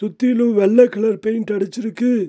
சுத்திலு வெள்ள colour paint அடிச்சிருக்கு.